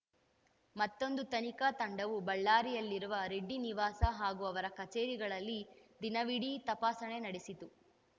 ಮತ್ತೊಂದು ತನಿಖಾ ತಂಡವು ಬಳ್ಳಾರಿಯಲ್ಲಿರುವ ರೆಡ್ಡಿ ನಿವಾಸ ಹಾಗೂ ಅವರ ಕಚೇರಿಗಳಲ್ಲಿ ದಿನವೀಡಿ ತಪಾಸಣೆ ನಡೆಸಿತು